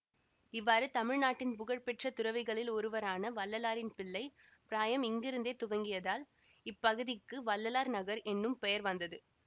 இவ்வாறு தமிழ்நாட்டின் புகழ் பெற்ற துறவிகளில் ஒருவரான வள்ளலாரின் பிள்ளைப் பிராயம் இங்கிருந்தே துவங்கியதால் இப்பகுதிக்கு வள்ளலார் நகர் என்னும் பெயர் வந்தது